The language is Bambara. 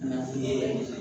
Na